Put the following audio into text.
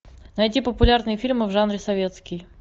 найти популярные фильмы в жанре советский